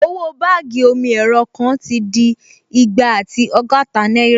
Owó báàgì omi-ẹ̀rọ kan ti di igba àti ọgọ́ta náírà